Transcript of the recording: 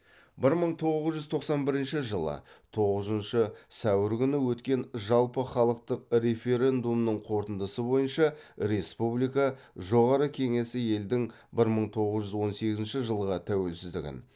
бір мың тоғыз жүз тоқсан бірінші жылы тоғызыншы сәуір күні өткен жалпыхалықтық референдумның қорытындысы бойынша республика жоғары кеңесі елдің бір мың тоғыз жүз он сегізінші жылғы тәуелсіздігін